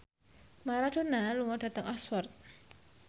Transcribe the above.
Maradona lunga dhateng Oxford